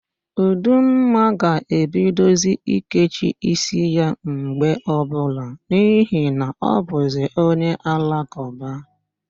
Ụdumma ga-ebidozi ikechi ísíí ya mgbe ọbụla n'ihi na ọbụzị onye Alakụba.